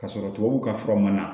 Ka sɔrɔ tubabuw ka fura man ɲi